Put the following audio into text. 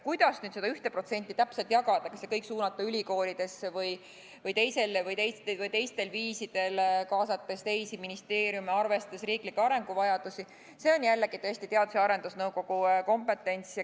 Kuidas seda 1% täpselt jagada – kas kõik suunata ülikoolidesse või kasutada teistel viisidel, kaasates teisi ministeeriume, arvestades riiklikke arenguvajadusi –, see on jällegi Teadus- ja Arendusnõukogu kompetents.